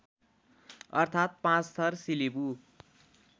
अर्थात् पाँचथर सिलिबु